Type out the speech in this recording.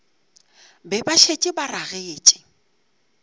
be ba šetše ba ragetše